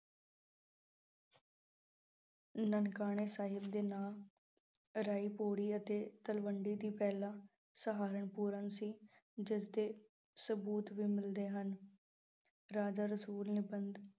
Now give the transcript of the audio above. ਨਾਨਕਾਣਾ ਸਾਹਿਬ ਦਾ ਨਾਂ ਰਾਇ-ਭੋਇ ਦੀ ਤਲਵੰਡੀ, ਤੋਂ ਪਹਿਲਾ ਸੀ। ਜਿਸ ਦੇ ਸਬੂਤ ਵੀ ਮਿਲਦੇ ਹਨ, ਰਾਜਾ ਰਸੂਲ ਨਿਬੰਧ।